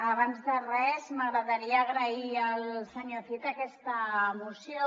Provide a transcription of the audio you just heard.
abans de res m’agradaria agrair al senyor cid aquesta moció